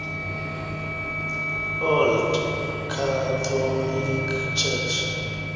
old catholic church